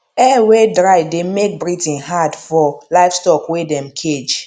air wey dry de make breathing had for livestock wey dem cage